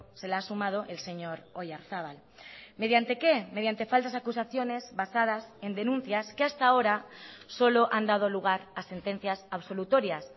se le ha sumado el señor oyarzabal mediante qué mediante falsas acusaciones basadas en denuncias que hasta ahora solo han dado lugar a sentencias absolutorias